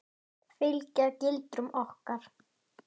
Fylgja gildum okkar.